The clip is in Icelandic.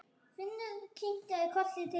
Finnur kinkaði kolli til þeirra.